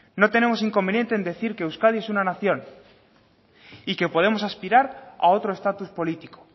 no tenemos inconveniente en decir que euskadi es una nación y que podemos aspirar a otro estatus político